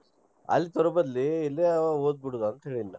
ಅಲ್ಲಿ ತರು ಬದ್ಲಿ ಇಲ್ಲೆ ಒದ್ ಬಿಡುದ್ .